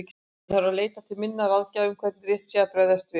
Ég þarf að leita til minna ráðgjafa um hvernig rétt sé að bregðast við.